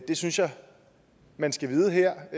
det synes jeg man skal vide her